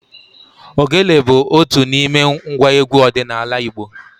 Ogele bụ otu n'ime ngwa egwu ọdịnala Igbo.